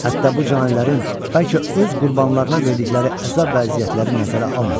Hətta bu canilərin bəlkə öz qurbanlarına verdikləri əzab vəziyyətləri nəzərə almadı.